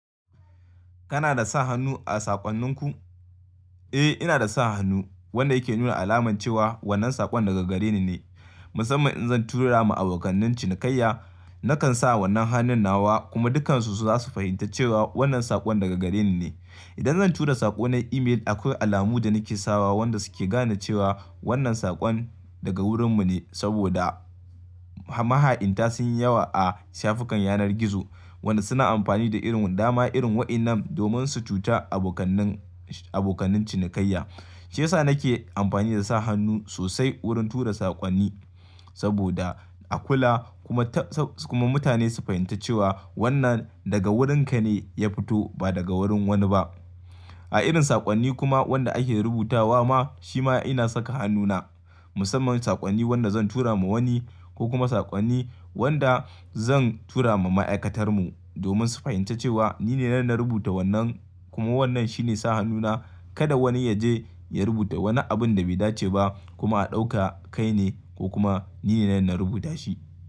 Kana da sa hannu a saƙonninku? Eh, ina da sa hannu wanda yake nuna alamance cewa wannan saƙon daga gare ni ne. Musamman in zan tura ma abokanin cinikayya, nakan sa wannan hannun nawa kuma dukansu su za su fahimta cewa wannan saƙon daga gare ni ne. Idan zan tura saƙo na email akwai alamu da nake sawa wanda su ke gane cewa wannan saƙon daga wurin mu ne saboda maha'inta sun yi yawa a shafukan yanar gizo, wanda suna amfani da irin dama irin wa'inan domin su cuta abokanin cinikayya. Shiyasa nake amfani da sa hannu sosai wurin tura saƙonni saboda a kula kuma ta sa kuma mutane su fahimta cewa wannan daga wurinka ne ya fito ba daga wurin wani ba. A irin saƙonni kuma wanda ake rubutawa ma shi ma ina saka hannuna. Musamman saƙonni wanda zan tura ma wani ko kuma saƙonni wanda zan tura ma ma'aikatar mu domin su fahimta cewa nine nan na rubuta wannan kuma wannan shine sa hannuna. Kada wani ya je ya rubuta wani abun da bai dace ba kuma a dauka kaine ko kuma nine nan na rubuta shi.